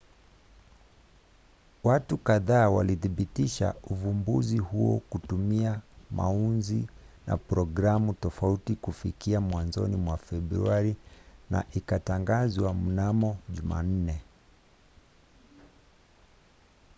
watu kadhaa walithibitisha uvumbuzi huo kutumia maunzi na programu tofauti kufikia mwanzoni mwa februari na ikatangazwa mnamo jumanne